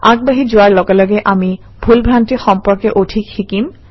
আগবাঢ়ি যোৱাৰ লগে লগে আমি ভুল ভ্ৰান্তি সম্পৰ্কে অধিক শিকিম